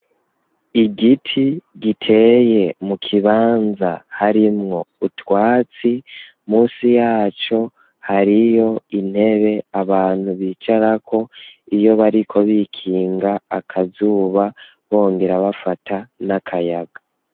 Igiti giteye mu kibanza, harimwo utwatsi, munsi yaco hariyo intebe, abantu bicarako, iyo bariko bikinga akazuba, bongera bafata n'akayaga.